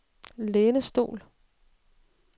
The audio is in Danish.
lænestol